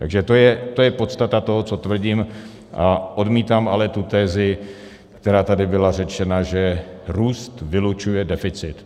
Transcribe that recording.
Takže to je podstata toho, co tvrdím, a odmítám ale tu tezi, která tady byla řečena, že růst vylučuje deficit.